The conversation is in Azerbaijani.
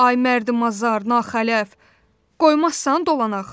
Ay mərdəmazar, naxələf, qoymazsan dolanaq.